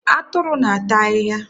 Atụrụ na- ata ahịhịa.